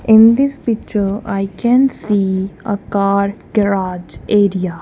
in this picture I can see ah car garage area.